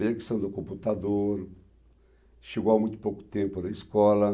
A conexão do computador chegou há muito pouco tempo na escola.